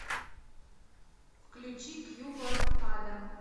включи к югу от ада